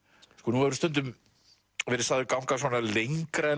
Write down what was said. nú hefurðu stundum verið sagður ganga svona lengra en